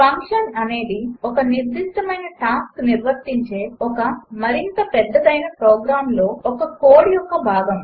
function అనేది ఒక నిర్దిష్టమైన టాస్క్ నిర్వర్తించే ఒక మరింత పెద్దదయిన ప్రోగ్రాంలో ఒక కోడ్ యొక్క భాగం